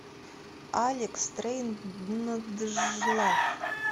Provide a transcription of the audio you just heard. алекс стрейнджлав